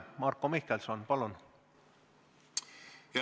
Marko Mihkelson, palun!